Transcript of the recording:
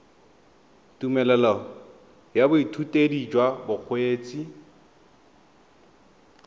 tumelelo ya boithutedi jwa bokgweetsi